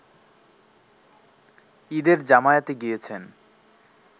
ঈদের জামায়াতে গিয়েছেন